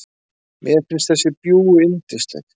Mér finnst þessi bjúgu yndisleg.